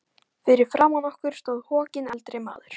Fyrir framan okkur stóð hokinn eldri maður.